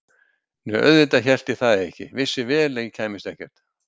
Nei auðvitað hélt ég það ekki, vissi vel að ég kæmist ekkert.